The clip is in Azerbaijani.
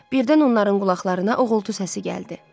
Birdən onların qulaqlarına uğultu səsi gəldi.